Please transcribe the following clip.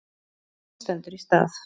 Krónan stendur í stað